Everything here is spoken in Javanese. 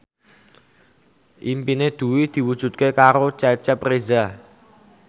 impine Dwi diwujudke karo Cecep Reza